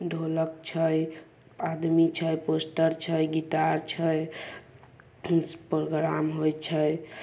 ढोलक छे आदमी छे पोस्टर छेगिटार प्रोग्राम हुई छे।